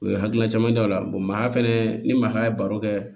U ye hakilina caman d'aw la maa fɛnɛ ni maa ye baro kɛ